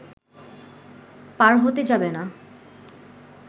পার হতে যাবে না